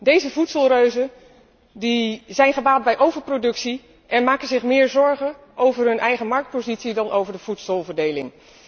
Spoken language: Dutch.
Deze voedselreuzen zijn gebaat bij overproductie en maken zich meer zorgen over hun eigen marktpositie dan over de voedselverdeling.